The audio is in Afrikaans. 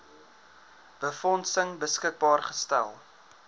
befondsing beskikbaar gestel